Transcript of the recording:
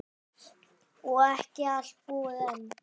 Og ekki allt búið enn.